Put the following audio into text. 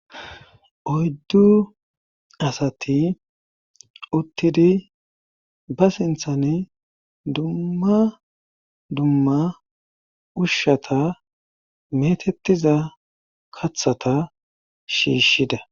oyddu asati uttidi ba sinthani dumma dumma ushshata metettiza kathata shiishshida